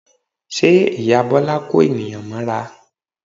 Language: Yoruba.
Ṣe ìyá Bọ́lá ń kó ènìyàn mọ́ra?